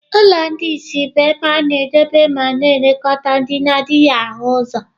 Ụlọ ndị ìsì bụ ebe a na-edobe ma na-elekọta ndị na-adịghị ahụ ụzọ.